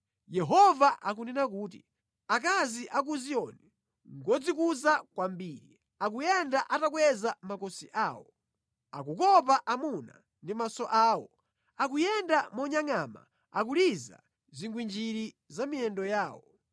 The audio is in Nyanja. Yehova akunena kuti, “Akazi a ku Ziyoni ngodzikuza kwambiri, akuyenda atakweza makosi awo, akukopa amuna ndi maso awo akuyenda monyangʼama akuliza zigwinjiri za mʼmiyendo yawo